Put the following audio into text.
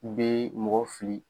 u bɛ mɔgɔ fili